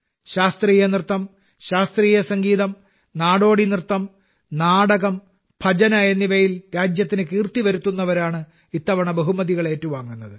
ശാസ്ത്രീയനൃത്തം ശാസ്ത്രീയ സംഗീതം നാടോടി നൃത്തം നാടകം ഭജന എന്നിവയിൽ രാജ്യത്തിന് കീർത്തി വരുത്തുന്നവരാണ് ഇത്തവണ ബഹുമതികൾ ഏറ്റുവാങ്ങുന്നത്